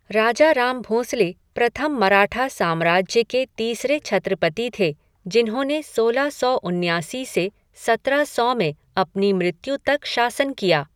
राजाराम भोंसले प्रथम मराठा साम्राज्य के तीसरे छत्रपति थे, जिन्होंने सोलह सौ उन्यासी से सत्रह सौ में अपनी मृत्यु तक शासन किया।